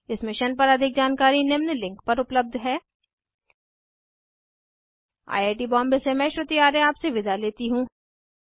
इस मिशन पर अधिक जानकारी निम्न लिंक पर उपलब्ध है 1 आई आई टी बॉम्बे से मैं श्रुति आर्य आपसे विदा लेती हूँ